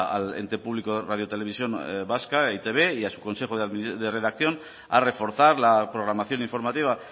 al ente público de radio televisión vasca e i te be y a su consejo de redacción a reforzar la programación informativa